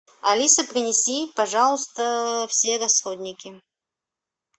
алиса принеси пожалуйста все расходники